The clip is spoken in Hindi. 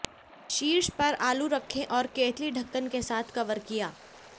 शीर्ष पर आलू रखें और केतली ढक्कन के साथ कवर किया